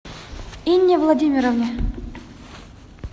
инне владимировне